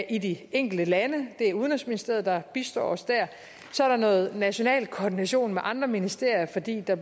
i de enkelte lande det er udenrigsministeriet der bistår os der så er der noget national koordination med andre ministerier fordi der